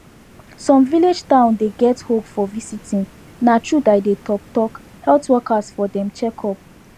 some village town dey get hope for visiting na truth i dey talk talk health workers for dem checkup